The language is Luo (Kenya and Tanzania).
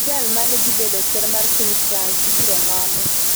Chi jal mane dhi bedo ker mar piny France ibiro noni